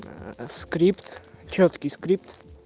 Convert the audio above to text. скрипт чёткий скрипт